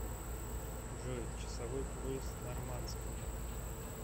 джой часовой пояс нормандские